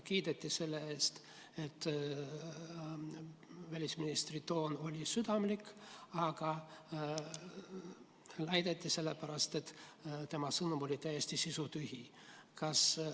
Kiideti selle eest, et välisministri toon oli südamlik, aga väideti: see oli nii sellepärast, et tema sõnum oli täiesti sisutühi.